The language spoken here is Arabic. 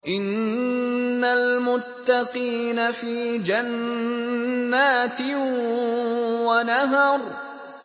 إِنَّ الْمُتَّقِينَ فِي جَنَّاتٍ وَنَهَرٍ